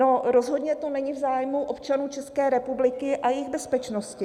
No, rozhodně to není v zájmu občanů České republiky a jejich bezpečnosti.